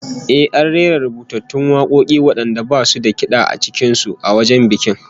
Eh, an rera rubutattun wakoki wadanda basu da kid'a cikin su, a wajen bikin